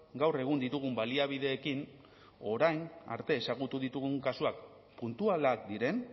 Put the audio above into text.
gaur egun ditugun baliabideekin orain arte ezagutu ditugun kasuak puntualak diren